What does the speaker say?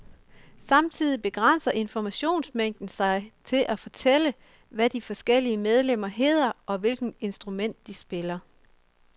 Samtidig begrænser informationsmængden sig til at fortælle, hvad de forskellige medlemmer hedder, og hvilket instrument de spiller.